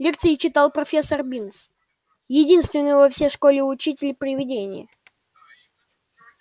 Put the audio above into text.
лекции читал профессор бинс единственный во всей школе учитель-привидение